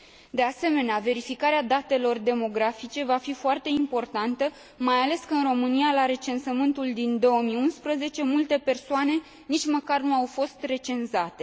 De asemenea, verificarea datelor demografice va fi foarte importantă, mai ales că, în România, la recensământul din 2011, multe persoane nici măcar nu au fost recenzate.